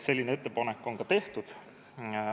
Selline ettepanek on ka tehtud.